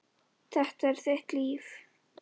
Þetta er þitt líf!